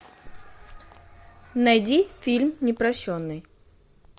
найди фильм непрощенный